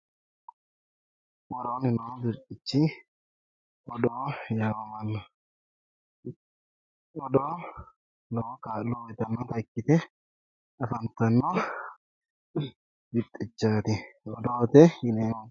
Worooni noorichi odoo yaamamanni afamano ,odoo lowo kaa'lo uyittanotta ikkite afantano birxichati odoote yineemmo.